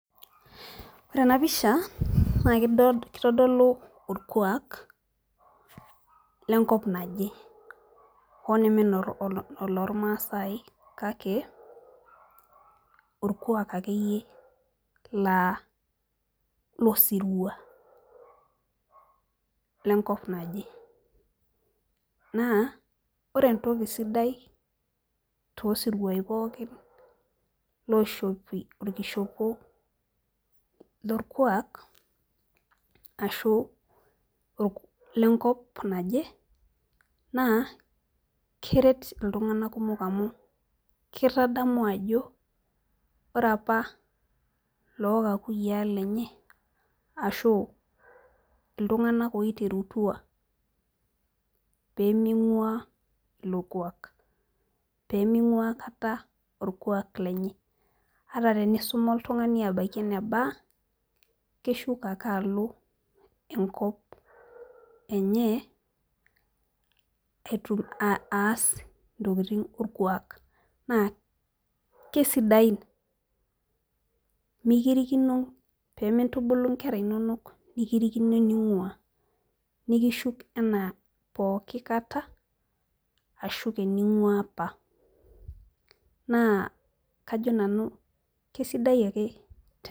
Ore ena pisha na kitodolu olkuak, lenkop naje hoo neme enoormaasae kake orkuaak akeyie laa losirua, lenkop naje, naa ore entoki sidai toosiriao pookin loishopi olkishopo lorkuaak, ashu lenkop naje naa keret iltunganak kumok amu kitadamu ajo ore apa loo kakuyiaa lenye ashu, iltunganak oiterutua pee ming'uaa ilo kuak. pee ming'uaa aikata olkuaak lenye. ata tenkisuma oltungani abaiki ene baa keshuko ake alo enkop enye aas ntokitin orkuak. naa kesidain mikirikino, pee mintubulu nkera inonok mikirikino enaingua. nikishuk anaa pooki kata, ashuku eninguaa apa naa kajo nanu kesidai ake